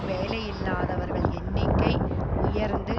வேலையில்லாதவர்கள் எண்ணிக்கை உயர்ந்து